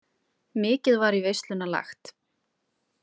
Mikið var í veisluna lagt.